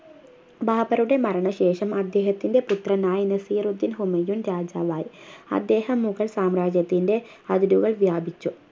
ബാബറുടെ മരണ ശേഷം അദ്ദേഹത്തിൻ്റെ പുത്രനായ നസീറുദ്ദീൻ ഹുമയൂൺ രാജാവായി അദ്ദേഹം മുഗൾ സാമ്രാജ്യത്തിൻ്റെ അതിരുകൾ വ്യാപിച്ചു